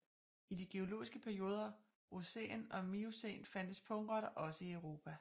I de geologiske perioder Eocæn og Miocæn fandtes pungrotter også i Europa